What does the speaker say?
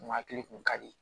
N hakili kun ka di